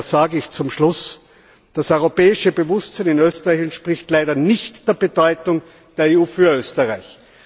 Daher zum Schluss Das europäische Bewusstsein in Österreich entspricht leider nicht der Bedeutung der EU für Österreich.